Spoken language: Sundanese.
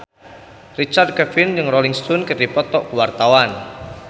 Richard Kevin jeung Rolling Stone keur dipoto ku wartawan